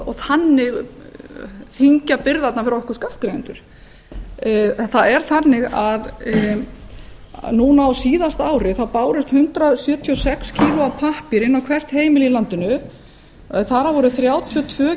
og þannig þyngja byrðarnar fyrir okkur skattgreiðendur en það er þannig að núna á síðasta ári bárust hundrað sjötíu og sex kíló af pappír inn á hvert heimili í landinu þar af voru þrjátíu og tvö